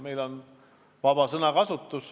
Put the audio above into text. Meil on sõnavabadus.